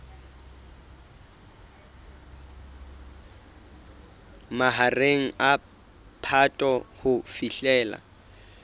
mahareng a phato ho fihlela